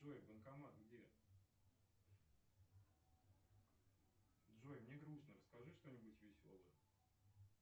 джой банкомат где джой мне грустно расскажи что нибудь веселое